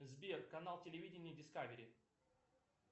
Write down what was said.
сбер канал телевидения дискавери